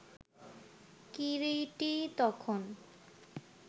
কিরীটী তখন